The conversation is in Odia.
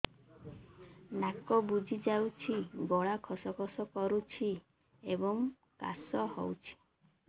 ନାକ ବୁଜି ଯାଉଛି ଗଳା ଖସ ଖସ କରୁଛି ଏବଂ କାଶ ହେଉଛି